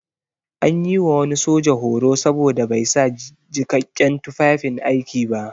An yi wa wani soja horo saboda bai sa jikakken tufafin aiki ba.